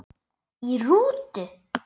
Í rútu